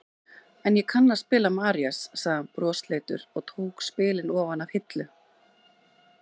En ég kann að spila Marías, sagði hann brosleitur og tók spilin ofan af hillu.